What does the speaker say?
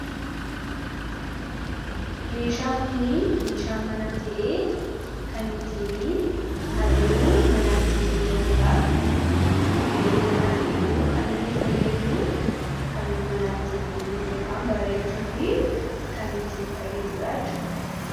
meeshaan kun meeshaa manaa ta'ee kan ittiin halluu manaa ittiin dibamudha. kanaaf iyyuu kan inni fayyadu halluu manaa ittiin dibuuf yookaan bareechuuf kan ittiin fayyadudhaa jechuudha.